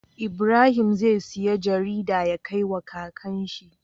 Ibrahim zai siya jarida ya kai wa kakan shi